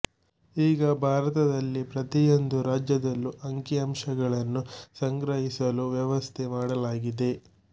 ಈಗ ಭಾರತದಲ್ಲಿ ಪ್ರತಿಯೊಂದು ರಾಜ್ಯದಲ್ಲೂ ಅಂಕಿಅಂಶಗಳನ್ನು ಸಂಗ್ರಹಿಸಲು ವ್ಯವಸ್ಥೆ ಮಾಡಲಾಗಿದೆ